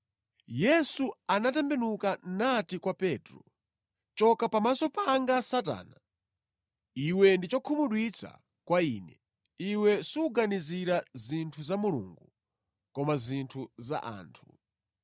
Yesu anatembenuka nati kwa Petro, “Choka pamaso panga Satana! Iwe ndi chokhumudwitsa kwa Ine; iwe suganizira zinthu za Mulungu koma zinthu za anthu.”